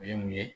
O ye mun ye